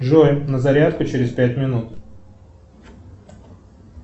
джой на зарядку через пять минут